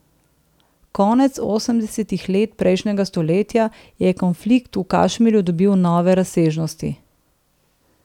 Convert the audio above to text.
Konec osemdesetih let prejšnjega stoletja je konflikt v Kašmirju dobil nove razsežnosti.